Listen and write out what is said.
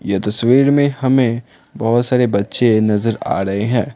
यह तस्वीर में हमें बहोत सारे बच्चे नजर आ रहे हैं।